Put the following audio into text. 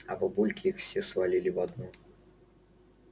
а бабульки их все свалили в одну